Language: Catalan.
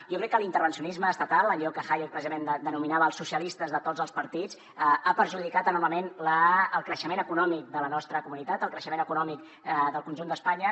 jo crec que l’intervencionisme estatal allò que hayek precisament denominava els socialistes de tots els partits ha perjudicat enormement el creixement econòmic de la nostra comunitat el creixement econòmic del conjunt d’espanya